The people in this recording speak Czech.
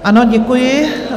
Ano, děkuji.